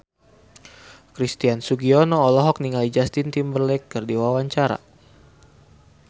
Christian Sugiono olohok ningali Justin Timberlake keur diwawancara